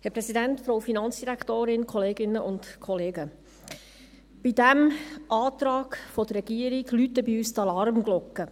Bei diesem Antrag der Regierung läuten bei uns die Alarmglocken.